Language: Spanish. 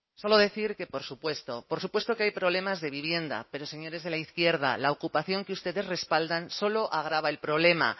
solo decir que por supuesto por supuesto que hay problemas de vivienda pero señores de la izquierda la ocupación que ustedes respaldan solo agrava el problema